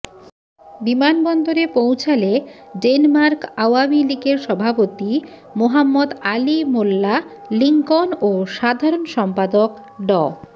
বিমানবন্দরে পৌঁছালে ডেনমার্ক আওয়ামী লীগের সভাপতি মোহাম্মদ আলী মোল্লা লিংকন ও সাধারণ সম্পাদক ড